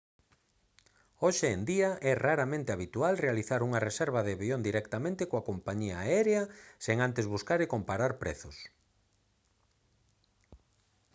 hoxe en día é raramente habitual realizar unha reserva de avión directamente coa compañía aérea sen antes buscar e comparar prezos